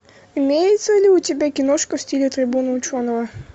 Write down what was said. имеется ли у тебя киношка в стиле трибуна ученого